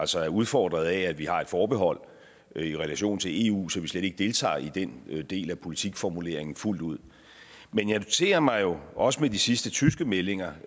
så er udfordret af at vi har et forbehold i relation til eu så vi slet ikke deltager i den del af politikformuleringen fuldt ud men jeg noterer mig jo også med de sidste tyske meldinger